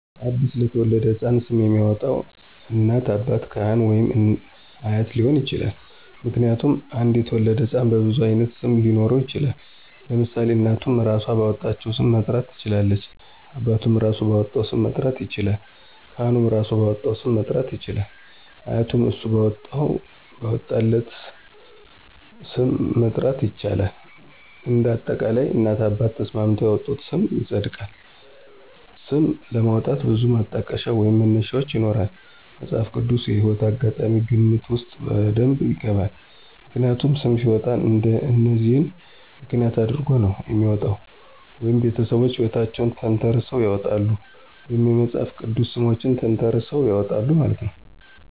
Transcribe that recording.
አዲስ ለተወለደው ሕፃን ስም የሚያወጣው እናት፣ አባት፣ ካህን ወይም አያት ሊሆን ይችላል። ምክንያቱም አንድ የተወለደ ህፃን በብዙ አይነት ስም ሊኖረው ይችላል ለምሳሌ እናቱም እራሶ ባወጣቸው ሰም መጥራት ትችላለች አባቱም እራሱ ባወጣው ስም መጥራት ይችላለል ካህኑም እራሱ ባወጣለት ስም መጥራት ይችላል አያቱም እሱ ባወጣለት ስ??? ም መጥራት ይችላል እንደ አጠቃላይ እናት አባት ተስማምተው ያወጡት ስም ይፀድቃል። ስም ለማውጣት ብዙ ማጠቀሻ ወይም መነሻዎች ይኖራሉ መፅሃፍ ቅድስ ወይም የህይወት አጋጣሚ ግምት ውስጥ በደብ ይገባል። ምክንያቱም ሰም ሲወጣ እነዚህን ምክንያት አድረጎ ነው የሚወጣው ወይ ቤተሰቦቹ ሕይወታቸውን ተንተረሰው ያውጣሉ ወይም የመፅሐፍ ቅድስ ሰሞችን ተንተራሰው ያወጣሉ ማለት ነው።